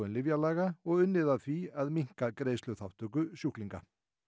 lyfjalaga og unnið að því að minnka greiðsluþátttöku sjúklinga